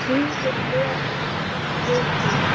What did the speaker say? Hlífðu mér við því.